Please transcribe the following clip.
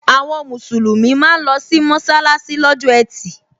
Àwọn musulumi máa ń losi mọsalasi lọ́jọ́ etí.